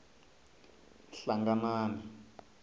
hlanganani